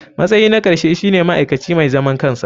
Matsayi na ƙarshe shine ma'aikaci mai zaman kansa.